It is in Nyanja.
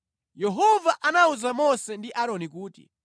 Yehova anawuza Mose ndi Aaroni kuti,